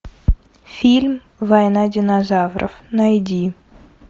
фильм война динозавров найди